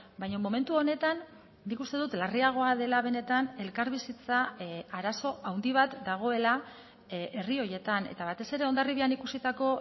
baina momentu honetan nik uste dut larriagoa dela benetan elkarbizitza arazo handi bat dagoela herri horietan eta batez ere hondarribian ikusitako